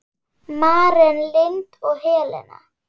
Maren Lind og Helena.